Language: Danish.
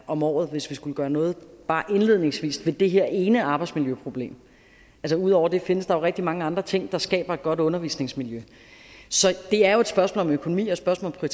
om året hvis vi skulle gøre noget bare indledningsvis ved det her ene arbejdsmiljøproblem ud over det findes der rigtig mange andre ting der skaber et godt undervisningsmiljø så det er et spørgsmål om økonomi og et spørgsmål om